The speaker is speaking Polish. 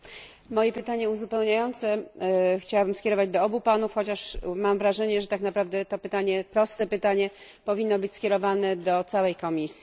Moje pytanie uzupełniające chciałabym skierować do obu Panów, chociaż mam wrażenie, że tak naprawdę to pytanie, proste pytanie, powinno być skierowane do całej Komisji.